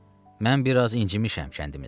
Mən biraz incimişəm kəndimizdən.